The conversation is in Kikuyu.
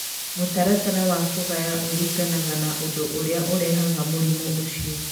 Mũtaratara wa kũgaya ũringanaga na ũndũ ũrĩa ũrehaga mũrimũ ũcio.